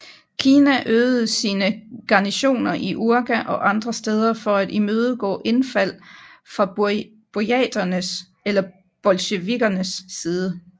Kina øgede sine garnisoner i Urga og andre steder for at imødegå indfald fra burjaternes eller bolsjevikernes side